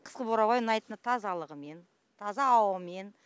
қысқы бурабай ұнайтыны тазалығымен таза ауамен